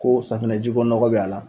Ko safinɛji ko nɔgɔ bɛ a la